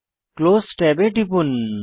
close ট্যাবে টিপুন